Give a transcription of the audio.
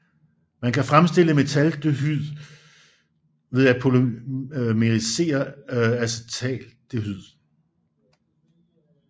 Man kan fremstille metaldehyd ved at polymerisere acetaldehyd